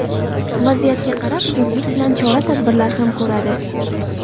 Vaziyatga qarab zudlik bilan chora-tadbirlar ham ko‘radi.